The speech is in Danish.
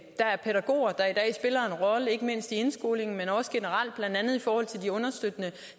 er pædagoger der i dag spiller en rolle ikke mindst i indskolingen men også generelt blandt andet i forhold til de understøttende